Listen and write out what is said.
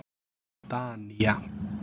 Danía